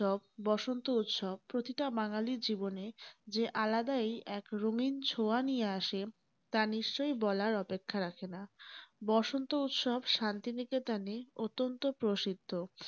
বসন্ত উৎসব প্রতিটা বাঙালীর জীবনে যে আলাদাই এক রঙিন ছোঁয়া নিয়ে আসে তা নিশ্চয়ই বলার অপেক্ষা রাখেনা । বসন্ত উৎসব শান্তি নিকেতনে অত্যন্ত প্রসিদ্ধ।